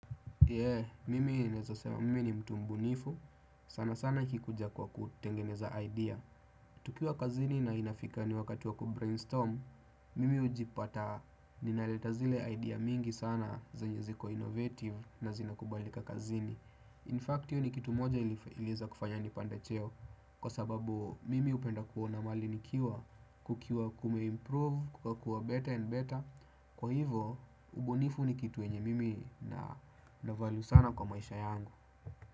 Yee, mimi nezasema mimi ni mtu mbunifu, sana sana ikikuja kwa kutengeneza idea. Tukiwa kazini na inafika ni wakati wa kubrainstorm, mimi ujipata ninaleta zile idea mingi sana zenye ziko innovative na zina kubalika kazini In fact, hiyo ni kitu moja ilieiza kufanya nipande cheo kwa sababu mimi hupenda kuona mahali nikiwa kukiwa kume improve, kukakua better and better. Kwa hivo, ubunifu ni kitu yenye mimi na na valu sana kwa maisha yangu.